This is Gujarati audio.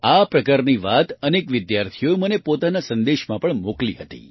આ પ્રકારની વાત અનેક વિદ્યાર્થીઓએ મને પોતાના સંદેશમાં પણ મોકલી હતી